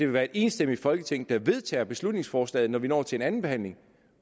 være et enstemmigt folketing der vedtager beslutningsforslaget når vi når til andenbehandlingen